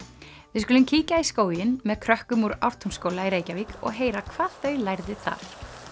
við skulum kíkja í skóginn með krökkum úr Ártúnsskóla í Reykjavík og heyra hvað þau lærðu þar